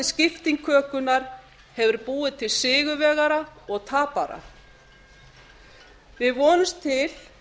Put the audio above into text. skipting kökunnar hefur búið til sigurvegara og tapara við vonumst til